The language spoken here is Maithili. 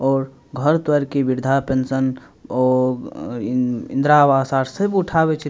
और घर-द्वार के वृद्धा पेंशन और उम इंद्रावास आर सब उठावे छै।